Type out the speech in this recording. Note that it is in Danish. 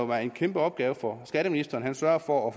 være en kæmpe opgave for skatteministeren at sørge for at